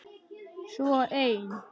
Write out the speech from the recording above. Svo ein.